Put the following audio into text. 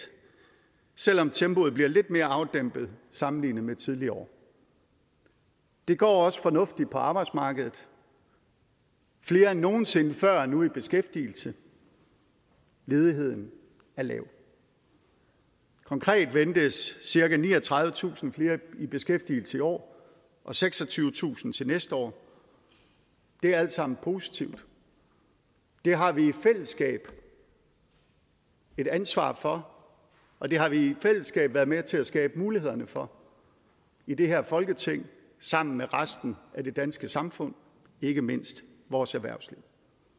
selv om tempoet bliver lidt mere afdæmpet sammenlignet med tidligere år det går også fornuftigt på arbejdsmarkedet flere end nogen sinde før er nu i beskæftigelse og ledigheden er lav konkret ventes cirka niogtredivetusind flere i beskæftigelse i år og seksogtyvetusind til næste år og det er alt sammen positivt det har vi i fællesskab et ansvar for og det har vi i fællesskab været med til at skabe mulighederne for i det her folketing sammen med resten af det danske samfund ikke mindst vores erhvervsliv